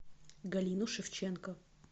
галину шевченко